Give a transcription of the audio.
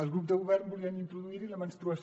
els grups de govern volien introduir hi la menstruació